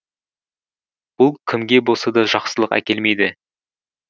бұл кімге болса да жақсылық әкелмейді